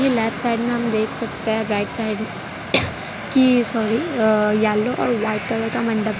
की left side मे हम देख सकते है राइट साइड मे की सॉरी अह येलो और व्हाइट कलर का मंडप --